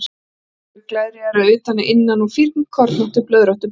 Bólstrar eru glerjaðir að utan en að innan úr fínkornóttu, blöðróttu bergi.